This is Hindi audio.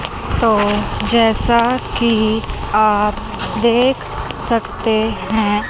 तो जैसा कि आप देख सकते हैं।